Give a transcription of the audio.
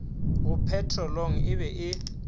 go petrolong e be e